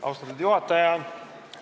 Austatud juhataja!